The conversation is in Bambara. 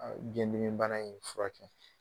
biyɛndimibana in fura kɛ.